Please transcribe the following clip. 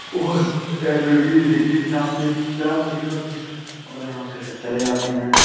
और M A B A degree प्राप्त प्राप्त भी करते हैं और यहाँ से चले जाते हैं।